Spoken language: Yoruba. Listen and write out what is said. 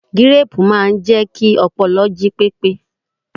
Gíréẹ̀pù máa ń jẹ́ kí ọpọlọ jí pépé